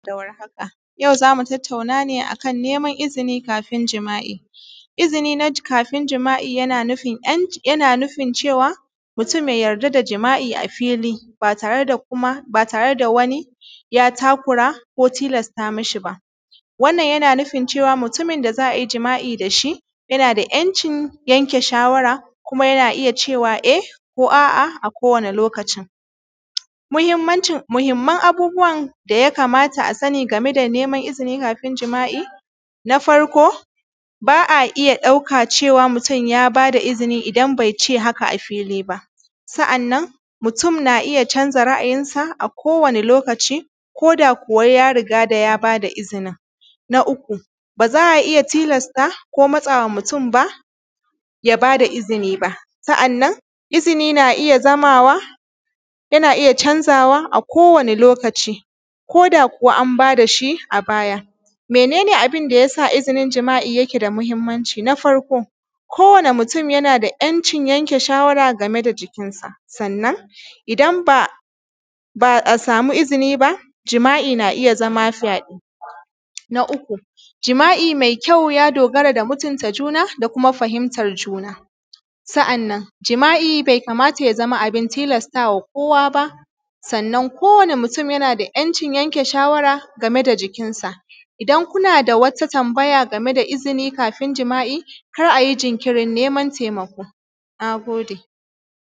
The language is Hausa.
Jama’a barkanmu yau zamu tattauna ne akan neman izinin kafin jima’i. Izini na kafin jima’i yana nufin cewa mutum ya yarda da jima’i a fili ba tare kuma, ba tare da wani ya takura ko tilata mishi ba. Wannan yana nufin cewa mutumin da za a yi jima’i dashi yana da ‘yancin yanke shawara, kuma yana da iya cewa eh ko a’a a kowane lokaci. Muhimmanci, Muhimman abubuwan daya kamata a sani game da izinin kafin jima’i. Na farko ba’a iya ɗauka cewa mutum ya bada izini idan bai ce haka a fili ba. Sa’annan mutum na iya canza ra’ayinsa a kowani lokaci, koda kuwa ya riga ya bada izini. Na uku, baza a iya tilasta ko matsawa mutum ba ya bada izini. Sa’annan izini na iya zamawa yana iya canzawa a kowani lokaci, koda kuwa an bada shi a baya. Mene ne abinda yasa izinin jima’i yake da mahimmanci? Na farko, kowani mutum yana da ‘yancin yanke shawa game da jikinsa, sannan idan ba a samu izini jima’i ba, jima’i yana iya zama fyaɗe. Na uku Jima’i mai kyau ya dogara ga mutunta juna da kuma fahimtar juna. Sa’annan jima’i be kamata ya zama abin tilastawa kowa ba. Sa’annan kowani mutum yana da ‘yanci yanke shawara game da jikinsa. idan kuna wata tambaya game da izinin kafin jima’i kar ayi jinkiri neman taimako. Na gode.